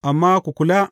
Amma ku kula!